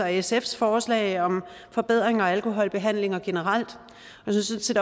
sfs forslag om forbedringer af alkoholbehandlinger generelt jeg synes